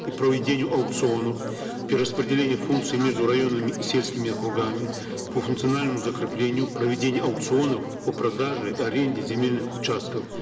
и проведению аукционов при распределении функции между районами и сельскими округами по функциональному закреплению проведения аукционов по продаже аренде земельных участков